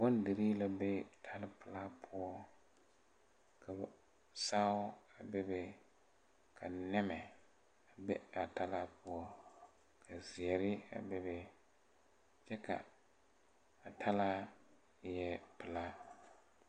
Bondirii la be tala pilaa poɔ ka ba saao bebe ka nɛmɛ be a talaa poɔ kazeɛre a bebe a talaa eɛɛ pilaa.